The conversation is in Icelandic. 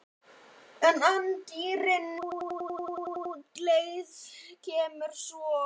En í anddyrinu á útleið kemur svo